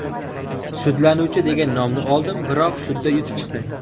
Sudlanuvchi degan nomni oldim, biroq sudda yutib chiqdim.